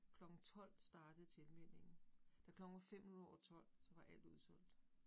Klokken 12 startede tillmeldingen. Da klokken var 5 minutter over 12, så var alt udsolgt